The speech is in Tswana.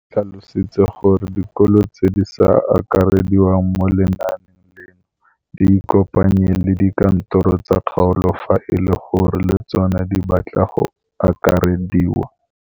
O tlhalositse gore dikolo tse di sa akarediwang mo lenaaneng leno di ikopanye le dikantoro tsa kgaolo fa e le gore le tsona di batla go akarediwa.